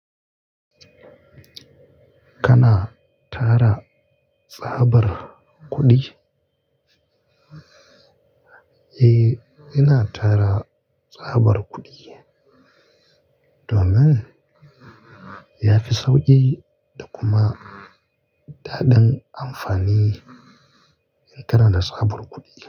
Kana tara tsabar kuɗi? Eh, ina tara tsabar kuɗi domin yafi sauƙi da kuma daɗin amfani in kana da tsabar kuɗi.